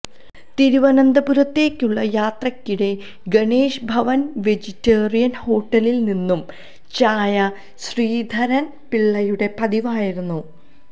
തിരുവനന്തപുരത്തേയ്ക്കുള്ള യാത്രയ്ക്കിടെ ഗണേശ് ഭവന് വെജിറ്റേറിയന് ഹോട്ടലില് നിന്നും ചായ ശ്രീധരന് പിള്ളയുടെ പതിവായിരുന്നു